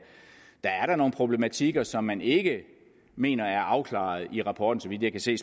der er da nogle problematikker som man ikke mener er afklaret i rapporten så vidt jeg kan se